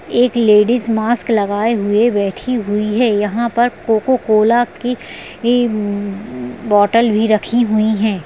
एक ladies mask लगाए हुए बैठी हुई है यहाँ पर कोकोकोला की इ बोटल भी रखी हुई है।